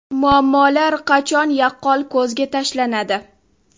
Muammolar qachon yaqqol ko‘zga tashlanadi?